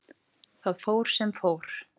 Þar fór sem fór.